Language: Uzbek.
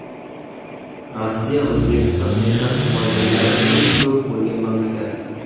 Rossiya O‘zbekiston mehnat muhojirlari eng ko‘p bo‘lgan mamlakat.